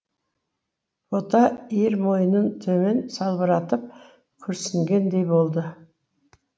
бота иір мойнын төмен салбыратып күрсінгендей болды